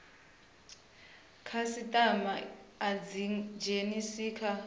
khasitama i dzi dzhenise kha